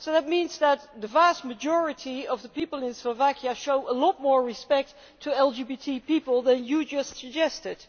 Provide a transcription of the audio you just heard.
So that means that the vast majority of people in Slovakia show a lot more respect for LGBT people than you just suggested.